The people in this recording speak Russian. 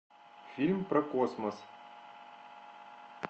фильм про космос